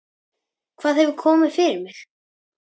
Hvað hefur komið fyrir mig?